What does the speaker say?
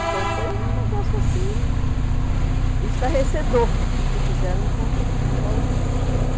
Então, foi um negócio, assim, estarrecedor o que fizeram com com Paulo Freire.